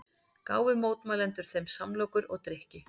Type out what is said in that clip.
Gáfu mótmælendur þeim samlokur og drykki